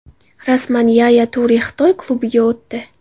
Rasman: Yaya Ture Xitoy klubiga o‘tdi.